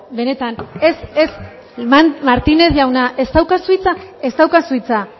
benetan ez ez martínez jauna ez daukazu hitza ez daukazu hitza